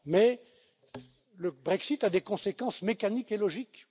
Mais le Brexit a des conséquences mécaniques et logiques.